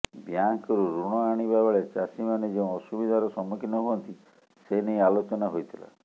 ବ୍ୟାଙ୍କରୁ ୠଣ ଆଣିବା ବେଳେ ଚାଷୀମାନେ ଯେଉଁ ଅସୁବିଧାର ସମ୍ମୁଖୀନ ହୁଅନ୍ତି ସେନେଇ ଆଲୋଚନା ହୋଇଥିଲା